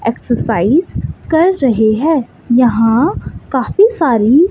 exercise कर रहे हैं यहां काफी सारी--